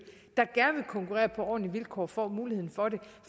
konkurrere på ordentlige vilkår får muligheden for det